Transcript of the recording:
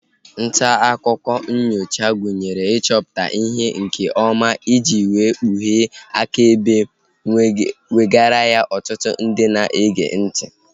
Ntaakụkọ nnyocha gụnyere ịchọpụta ihe nke ọma iji wee kpughee akaebe ma wegara ya ọtụtụ ndị na-ege ntị